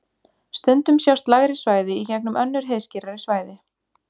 Stundum sjást lægri svæði í gegnum önnur heiðskírari svæði.